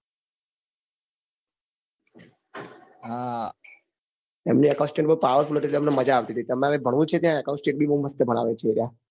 હા તેમની account state બઉ power full હતી એટલે અમને મજા આવતી હતી તમારે ભણવું છે ત્યાં account state બઉ મસ્ત ભણાવે છે એ રહ્યા